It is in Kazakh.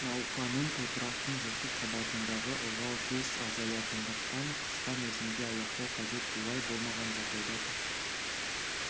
науқанын топырақтың жырту қабатындағы ылғал тез азаятындықтан қысқа мерзімде аяқтау қажет бұлай болмаған жағдайда тұқым